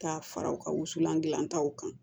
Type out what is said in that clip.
Ka fara u ka wusulan dilanlan taw kan